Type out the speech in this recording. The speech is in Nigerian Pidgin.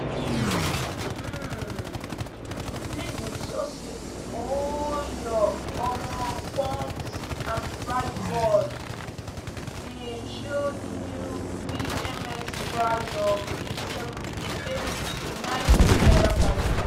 um um "please ensure say all your um pumps and price boards dey show di new pms price of eight seven eight nine seven per liter."